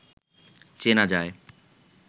চেনা যায়